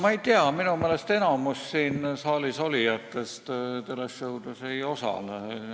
Ma ei tea, minu meelest enamik siin saalis olijatest tele-show'des ei osale.